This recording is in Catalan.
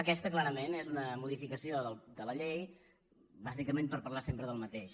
aquesta clarament és una modificació de la llei bàsicament per parlar sempre del mateix